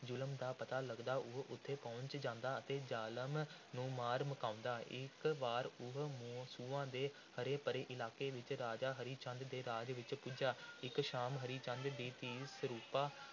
ਜ਼ੁਲਮ ਦਾ ਪਤਾ ਲਗਦਾ ਉਹ ਉੱਥੇ ਪਹੁੰਚ ਜਾਂਦਾ ਅਤੇ ਜ਼ਾਲਮ ਨੂੰ ਮਾਰ ਮੁਕਾਉਂਦਾ। ਇਕ ਵਾਰ ਉਹ ਸੂਆਂ ਦੇ ਹਰੇ – ਭਰੇ ਇਲਾਕੇ ਵਿੱਚ ਰਾਜਾ ਹਰੀ ਚੰਦ ਦੇ ਰਾਜ ਵਿੱਚ ਪੁੱਜਾ। ਇਕ ਸ਼ਾਮ ਹਰੀ ਚੰਦ ਦੀ ਧੀ ਸਰੂਪਾਂ